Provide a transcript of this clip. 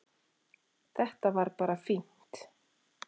Þetta var bara fínt